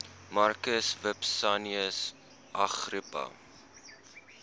marcus vipsanius agrippa